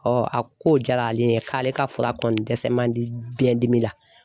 a ko diyara ale ye k'ale ka fura kɔni dɛsɛ man di biɲɛdimi la